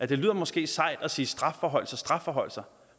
det lyder måske sejt at sige strafforhøjelser strafforhøjelser